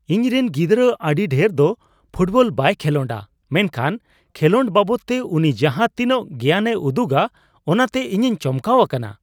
ᱤᱧᱨᱮᱱ ᱜᱤᱫᱽᱨᱟ ᱟᱹᱰᱤ ᱰᱷᱮᱨ ᱫᱚ ᱯᱷᱩᱴᱵᱚᱞ ᱵᱟᱭ ᱞᱷᱮᱞᱚᱰᱟ ᱢᱮᱱᱠᱷᱟᱱ ᱠᱷᱮᱞᱚᱰ ᱵᱟᱵᱚᱫᱛᱮ ᱩᱱᱤ ᱡᱟᱦᱟ ᱛᱤᱱᱟᱹᱜ ᱜᱮᱭᱟᱱᱮ ᱩᱫᱩᱜᱟ ᱚᱱᱟᱛᱮ ᱤᱧᱤᱧ ᱪᱚᱢᱠᱟᱣ ᱟᱠᱟᱱᱟ ᱾